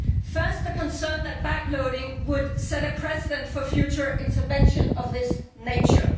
First, the concern that backloading would set a precedent for future intervention of the same nature.